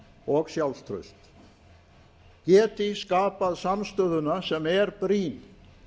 og sjálfstraust geti skapað samstöðuna sem er brýn